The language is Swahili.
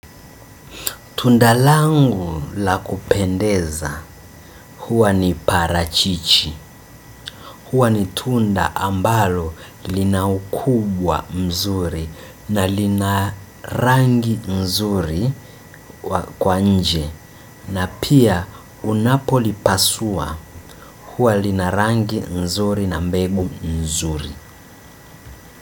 Tundalangu la kupendeza huwa ni parachichi, huwa ni tunda ambalo lina ukubwa mzuri na lina rangi nzuri kwa nje na pia unapo lipasua huwa lina rangi mzuri na mbegu mzuri.